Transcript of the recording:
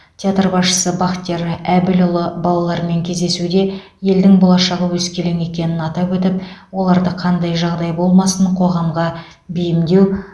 театр басшысы бахтияр әбілұлы балалармен кездесуде елдің болашағы өскелең екенін атап өтіп оларды қандай жағдай болмасын қоғамға бейімдеу